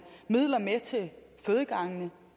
midler med til fødegangene